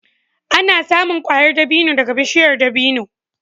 Ana samun ƙwayar dabino daga bishiyar dabino.